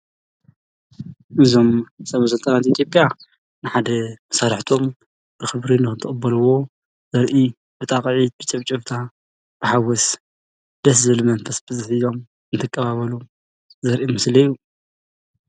እዞም ሰበ ስልጣን ኢትዮጲያ ንሓደ መሳርሕቶም ብክብሪ ንክቅበልዎ ዘርኢ ብጣቂዒት ብጭብጨባ ብሓጎስ ደስ ዝብል መንፈስ ብዘለዎ እንተቀባበሉ ዘርኢ ምስሊ እዩ